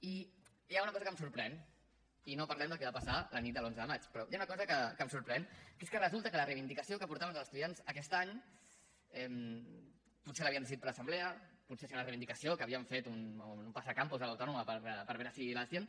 i hi ha una cosa que em sorprèn i no parlem del que va passar la nit de l’onze de maig però hi ha una cosa que em sorprèn que és que resulta que la reivindicació que portaven els estudiants aquest any potser l’havien decidit per assemblea potser era una reivindicació que havien fet en un passacampus a l’autònoma per veure si la gent